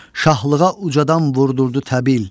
şahlığa ucadan vurdurdu təbil.